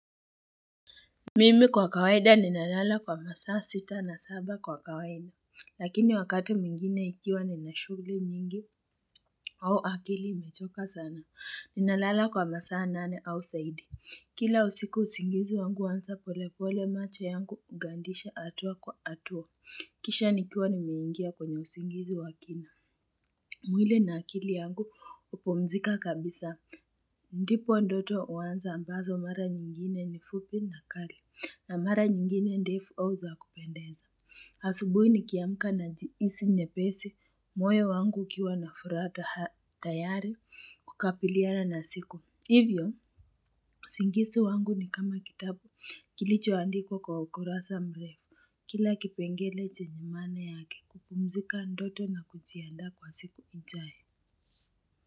Mimi kwa kawaida ninalala kwa masaa sita na saba kwa kawaida. Lakini wakati mwingine ikiwa nina shughuli nyingi au akili imechoka sana. Ninalala kwa masaa nane au zaidi. Kila usiku usingizi wangu huanza polepole macho yangu hugandisha hatua kwa hatua kisha nikiwa nimeingia kwenye usingizi wa akili. Mwili na akili yangu hupumzika kabisa. Ndipo ndoto huanza ambazo mara nyingine ni fupi na kali. Na mara nyingine ndefu au za kupendeza. Asubuhi nikiamka najihisi nyepesi. Moyo wangu ukiwa na furaha tayari kukabiliana na siku. Hivyo, usingizi wangu ni kama kitabu kilichoandikwa kwa ukurasa mrefu. Kila kipengele chenye maana yake kupumzika ndoto na kujiandaa kwa siku ijayo.